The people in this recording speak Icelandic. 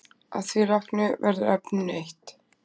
Að því loknu verður efninu eytt